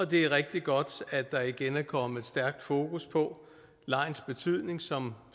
det er rigtig godt at der igen er kommet stærkt fokus på legens betydning som